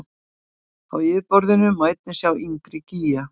Á yfirborðinu má einnig sjá yngri gíga.